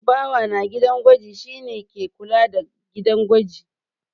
Bawa na gidan gwaji shi ne ke kula da gidan gwaji.